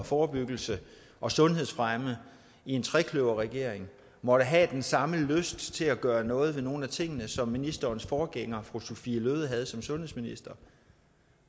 forebyggelse og sundhedsfremme i en trekløverregering måtte have den samme lyst til at gøre noget ved nogle af tingene som ministerens forgænger fru sophie løhde havde som sundhedsminister